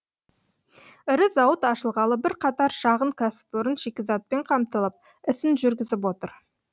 ірі зауыт ашылғалы бірқатар шағын кәсіпорын шикізатпен қамтылып ісін жүргізіп отыр